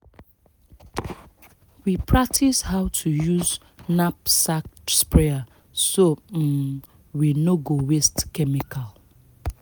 we practice how to use knapsack sprayer so um we no go waste chemical